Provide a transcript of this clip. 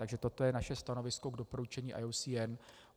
Takže toto je naše stanovisko k doporučení IUCN.